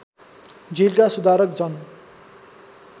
जेलका सुधारक जन